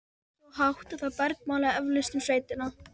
Svo hátt að það bergmálaði eflaust um sveitina.